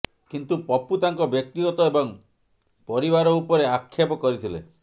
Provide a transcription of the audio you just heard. କିନ୍ତୁ ପପୁ ତାଙ୍କ ବ୍ୟକ୍ତିଗତ ଏବଂ ପରିବାର ଉପରେ ଆକ୍ଷେପ କରିଥିଲେ